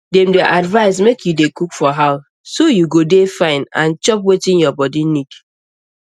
dem dey advise make you dey cook for house so you go dey fine and chop wetin your body need